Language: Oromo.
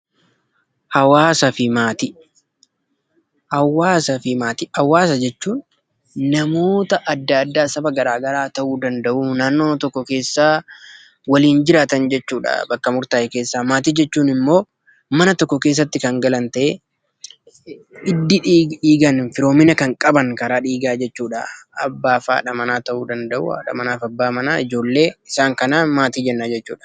Hawaasa jechuun namoota adda addaa saba garaa garaa ta'uu danda'u. Naannooma tokko keessa waliin jiraatan jechuudha bakka murtaa'e keessa. Maatii jechuun immoo mana tokko keessatti kan galan ta'ee, hidda dhiigaan firoomina kan qaban karaa dhiigaa jechuudha. Abbaaf haadha manaa ta'uu danda'u, haadha manaa fi abbaa manaa, ijoollee isaan kanaan maatii jenna jechuudha.